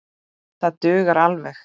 Það dugar alveg.